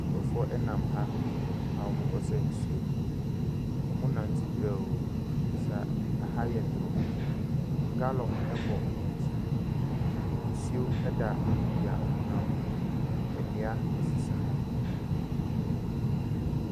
Nkurɔfo ɛnam ha a wɔnmmo ɛkɔsa nsuo. Wɔnmmo nante brɛoo efisɛ aha ɛyɛ torow. Galɔn ɛbɔ wɔnmmo akyi. Nsuo ɛda baabi a wɔnmmo ɛnam no. Nnua esisi ha.